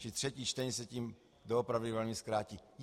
Čili třetí čtení se tím doopravdy velmi zkrátí.